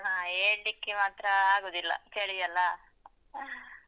ಹ ಏಳ್ಲಿಕ್ಕೆ ಮಾತ್ರ ಆಗುದಿಲ್ಲ, ಚಳಿ ಅಲ್ಲಾ?